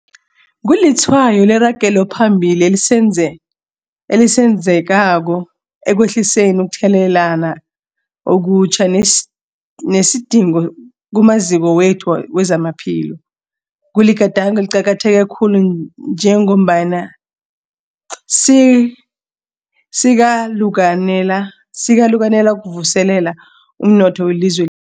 Kulitshwayo leragelo phambili esilenzako ekwehliseni ukutheleleka okutjha nesidingo kumaziko wethu wezamaphilo. Kuligadango eliqakatheke khulu njengombana sikalukanela ukuvuselela umnotho welizwe